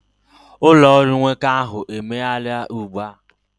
ụlọ ọrụ nwoke ahụ emeghela ugbu a